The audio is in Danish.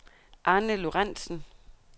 Arne Lorentsen